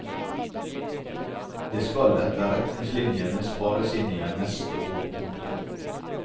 Det skal etter retningslinjene spares inn igjen neste år. punktum